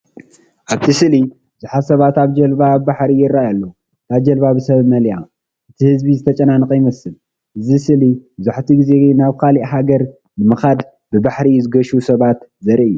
ኣብቲ ስእሊ ብዙሓት ሰባት ኣብ ጃልባ ኣብ ባሕሪ ይረኣዩ ኣለዉ። እታ ጃልባ ብሰባት መሊኣ፤ እቲ ህዝቢ ዝተጨናነቐ ይመስል። እዚ ስእሊ መብዛሕትኡ ግዜ ናብ ካልእ ሃገር ንምኻድ ብባሕሪ ዝገሹ ሰባት ዘርኢ እዩ።